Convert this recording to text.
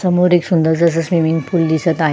समोर एक सुंदर अस स्विमिंग पूल दिसत आहे.